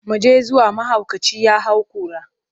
Mu je zuwa, mahaukaci ya hau kura.